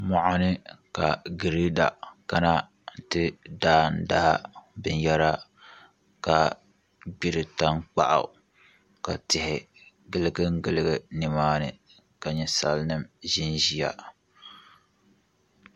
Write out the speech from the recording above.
Moɣani ka girɛda kana ti daadaa binyɛra ka gbiri tankpaɣu ka tihi giligili ba nimaani ka ninsal nim ʒinʒiya